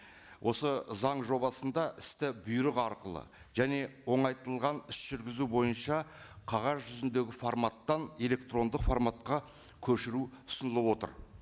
осы заң жобасында істі бұйрық арқылы және оңайтылған іс жүргізу бойынша қағаз жүзіндегі форматтан электрондық форматқа көшіру ұсынылып отыр